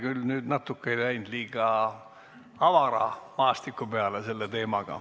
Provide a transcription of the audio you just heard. Kas me nüüd ei läinud selle teemaga liiga avara maastiku peale?